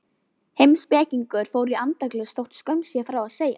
Heimspekingar fóru í andaglös þótt skömm sé frá að segja.